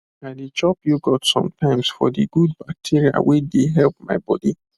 i dey chop yoghurt sometimes for the good bacteria wey dey help my body